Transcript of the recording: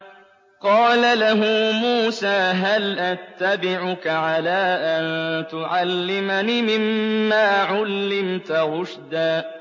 قَالَ لَهُ مُوسَىٰ هَلْ أَتَّبِعُكَ عَلَىٰ أَن تُعَلِّمَنِ مِمَّا عُلِّمْتَ رُشْدًا